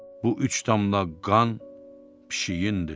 Bu üç damla qan pişiyindir.